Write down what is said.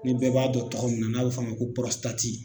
Ni bɛɛ b'a dɔn tɔgɔ min n'a bi f'a ma ko pɔrɔsitati